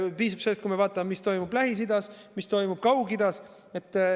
Piisab sellest, kui me vaatame, mis toimub Lähis-Idas, mis toimub Kaug-Idas.